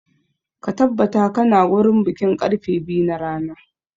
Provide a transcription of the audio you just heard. Ka tabbatar ka na wurin bikin karfe biyu na rana!